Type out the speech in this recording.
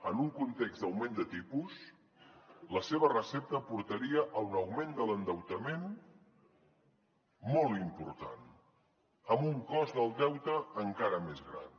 en un context d’augment de tipus la seva recepta portaria a un augment de l’endeutament molt important amb un cost del deute encara més gran